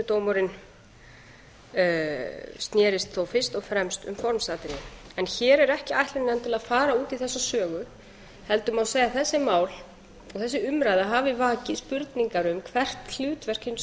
en sýknudómurinn snerist þó fyrst og fremst um formsatriði hér er ekki ætlunin endilega að fara út í þessa sögu heldur má segja að þessi mál og þessi umræða hafi vakið spurningar um hvert hlutverk hins